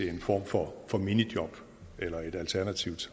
en form for for minijob eller et alternativt